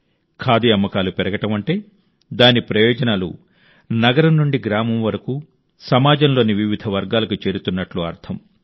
ఖాదీ అమ్మకాలు పెరగడం అంటే దాని ప్రయోజనాలు నగరం నుండి గ్రామం వరకు సమాజంలోని వివిధ వర్గాలకు చేరుతున్నట్టు అర్థం